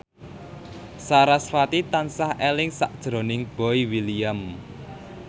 sarasvati tansah eling sakjroning Boy William